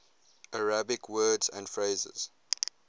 arabic words and phrases